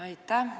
Aitäh!